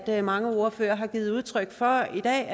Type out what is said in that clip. til at mange ordførere har givet udtryk for i dag